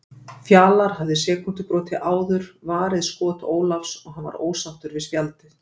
Fjalar hafði sekúndubroti áður varið skot Ólafs og hann var ósáttur við spjaldið.